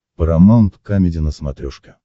парамаунт камеди на смотрешке